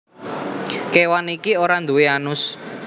Kewan iki ora duwé anus